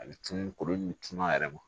A bɛ cun kulu in tun a yɛrɛ ma